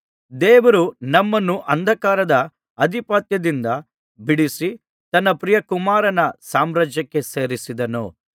ದೇವರು ನಮ್ಮನ್ನು ಅಂಧಕಾರದ ಅಧಿಪತ್ಯದಿಂದ ಬಿಡಿಸಿ ತನ್ನ ಪ್ರಿಯ ಕುಮಾರನ ಸಾಮ್ರಾಜ್ಯಕ್ಕೆ ಸೇರಿಸಿದನು